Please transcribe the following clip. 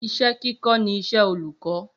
Iṣẹ́ kíkọ ní iṣẹ olukọ